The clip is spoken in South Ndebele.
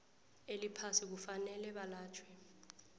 eliphasi kufanele belatjhwe